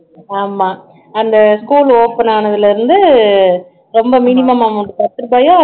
ஆமா அந்த school open ஆனதுல இருந்து ரொம்ப minimum amount பத்து ரூபாயோ